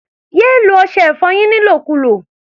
Yé lo ọṣẹ-ìfọyín nílòkulò!